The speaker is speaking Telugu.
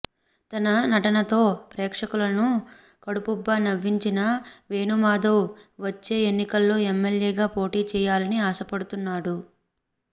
తన నటనతో ప్రేక్షకులను కడుపుబ్బా నవ్వించిన వేణుమాధవ్ వచ్చే ఎన్నికల్లో ఎమ్మెల్యేగా పోటీ చేయాలని ఆశపడుతున్నాడు